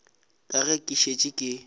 ka ge ke šetše ke